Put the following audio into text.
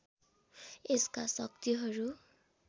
यसका शक्तिहरू